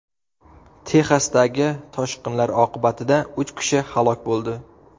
Texasdagi toshqinlar oqibatida uch kishi halok bo‘ldi.